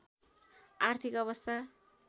आर्थिक अवस्था